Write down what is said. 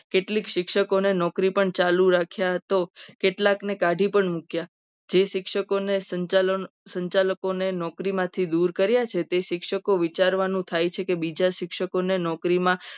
કેટલીક શિક્ષકોને નોકરી પણ ચાલુ રાખ્યા તો કેટલાકને કાઢી પણ મૂક્યા. જે શિક્ષકને સંચાલકોએ સંચાલકે નોકરીમાંથી દૂર કર્યા છે. જે શિક્ષકો વિચારવાનું થાય છે. કે બીજા શિક્ષકોને નોકરીમાં